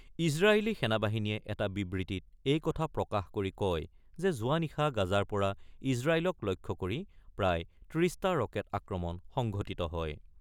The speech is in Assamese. ইজৰাইলী সেনা বাহিনীয়ে এটা বিবৃতিত এই কথা প্ৰকাশ কৰি কয় যে যোৱা নিশা গাজাৰ পৰা ইজৰাইলক লক্ষ্য কৰি প্ৰায় ৩০ টা ৰকেট আক্ৰমণ সংঘটিত হয়।